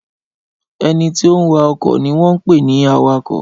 Ẹnití ó ń wa okọ̀ ni wọ́n ń pè ní awakọ̀